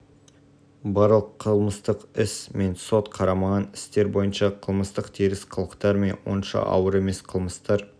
барлық қылмыстық іс мен сот қарамаған істер бойынша қылмыстық теріс қылықтар мен онша ауыр емес қылмыстар